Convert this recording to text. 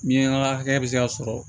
Miɲanka hakɛ bɛ se ka sɔrɔ